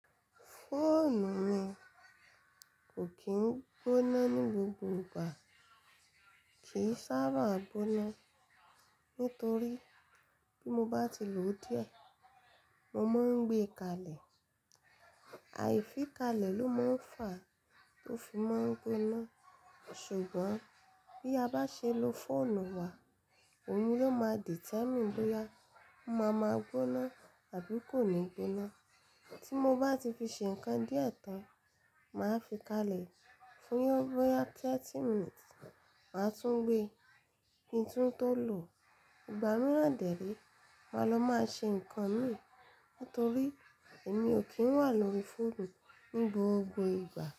Fóònù mi kò kí ń gbóná ní gbogbo ìgbà, kì í sábà gbóná. Nítorí bí mo bá ti lòó díẹ̀, mo máa ń gbé e kalẹ̀. Àìfi kalẹ̀ ló máa ń fà á tó fi máa ń gbóná. Ṣùgbọ́n bí a bá ṣe lo fóònù wa, òun ló máa determine bóyá ó máa ma gbóná àbí kò ní gbóná. Tí mo bá ti fi ṣe nǹkan díẹ̀ tán, màá fi kalẹ̀ fún bóyá thirty minutes màá tún gbé. Kí n tún tó lòò, ìgbà mìíràn dè réé, màá lọ máa ṣe nǹkan mi nítorí èmi ò kí ń wà lórí fóònù ní gbogbo ìgbà.